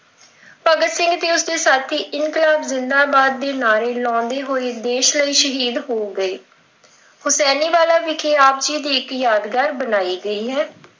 ਭਗਤ ਸਿੰਘ ਤੇ ਉਸ ਦੇ ਸਾਥੀ ਇਨਕਲਾਬ ਜਿੰਦਾਬਾਦ ਦੇ ਨਾਅਰੇ ਲਾਉਂਦੇ ਹੋਏ ਸ਼ਹੀਦ ਹੋ ਗਏ। ਹੁਸੈਨੀਵਾਲਾ ਵਿਖੇ ਆਪ ਜੀ ਦੀ ਇੱਕ ਯਾਦਗਰੀ ਬਣਾਈ ਗਈ ਹੈ।